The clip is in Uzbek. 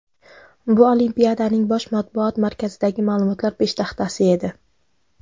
Bu Olimpiadaning Bosh matbuot markazidagi ma’lumotlar peshtaxtasi edi.